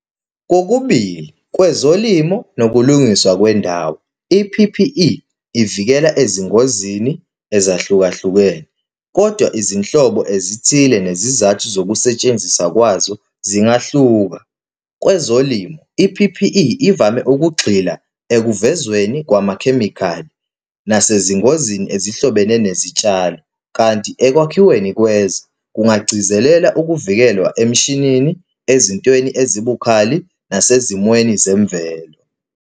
Kokubili, kwezolimo nokulungiswa kwendawo, i-P_P_E ivikela ezingozini ezahlukahlukene, kodwa izinhlobo ezithile nezizathu zokusetshenziswa kwazo zingahluka. Kwezolimo, i-P_P_E ivame ukugxila ekuvezweni kwamakhemikhali nasezingozini ezihlobene nezitshalo, kanti ekwakhiweni kwezwe kungagcizelela ukuvikelwa emshinini, ezintweni ezibucayi, nasezimweni zemvelo.